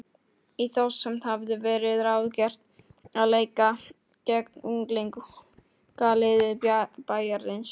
Í Þórshöfn hafði verið ráðgert að leika gegn unglingaliði bæjarins.